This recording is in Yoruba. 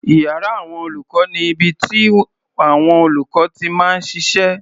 Iyàrá àwọn olùkọ́ ni ibi tíàwọn olùkọ́ ti máa ń ṣiṣẹ́.